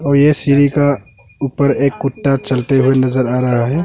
और ये सीढ़ी का ऊपर एक कुत्ता चलते हुए नजर आ रहा है।